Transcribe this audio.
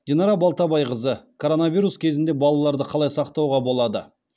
динара балтабайқызы коронавирус кезінде балаларды қалай сақтауға болады